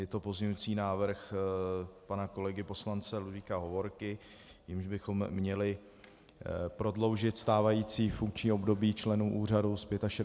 Je to pozměňující návrh pana kolegy poslance Ludvíka Hovorky, jímž bychom měli prodloužit stávající funkční období členů úřadu z 65 let na 70 let.